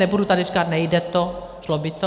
Nebudu tady říkat nejde to, šlo by to.